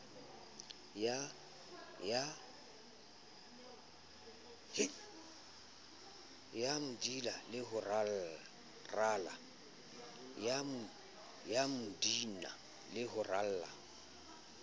ya mdnb le ho rala